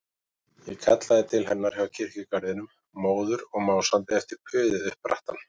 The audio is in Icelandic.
Ég kallaði til hennar hjá kirkjugarðinum, móður og másandi eftir puðið upp brattann.